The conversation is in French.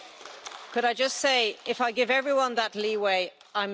Roundup et plus de gaz de schiste.